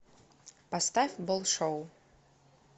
поставь болшоу